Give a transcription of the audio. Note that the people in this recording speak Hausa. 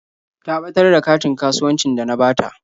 Ta ɓatar da katin kasuwancin da na bata.